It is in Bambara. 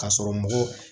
K'a sɔrɔ mɔgɔ